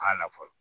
Kan na fɔlɔ